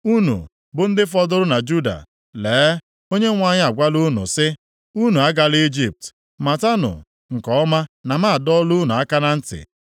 “Unu bụ ndị fọdụrụ na Juda, lee na Onyenwe anyị agwala unu sị, ‘Unu agala Ijipt.’ Matanụ nke ọma na m adọọla unu aka na ntị,